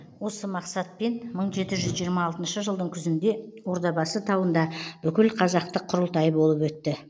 осы мақсатпен мың жеті жүз жиырма алтыншы жылдың күзінде ордабасы тауында бүкілқазақтық құрылтай болып өтті